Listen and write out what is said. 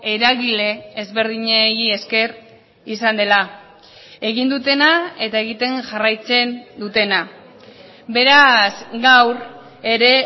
eragile ezberdinei esker izan dela egin dutena eta egiten jarraitzen dutena beraz gaur ere